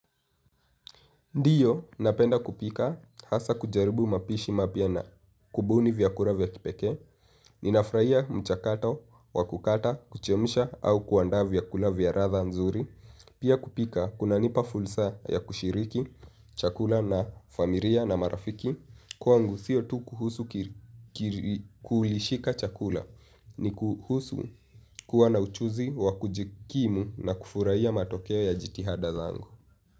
Ndiyo, napenda kupika, hasa kujaribu mapishi mapya na kubuni vyakula vya kipeke, ninafurahia mchakato, wakukata, kuchemsha, au kuandaa vyakula vya ladha mzuri. Pia kupika, kuna nipa fulsa ya kushiriki, chakula na familia na marafiki, kwangu sio tu kuhusu kuhulishika chakula, ni kuhusu kuwa na uchuzi wa kujikimu na kufurahia matokeo ya jitihada zangu.